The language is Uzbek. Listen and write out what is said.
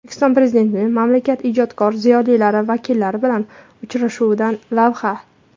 O‘zbekiston Prezidentining mamlakat ijodkor ziyolilari vakillari bilan uchrashuvidan lavha.